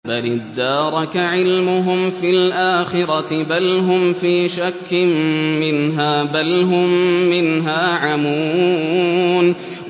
بَلِ ادَّارَكَ عِلْمُهُمْ فِي الْآخِرَةِ ۚ بَلْ هُمْ فِي شَكٍّ مِّنْهَا ۖ بَلْ هُم مِّنْهَا عَمُونَ